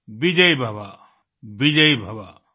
विजयी भव विजयी भव